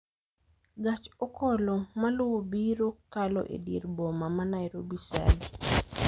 Gach okolo maluwo biro kalo e dier boma ma Nairobi saa adi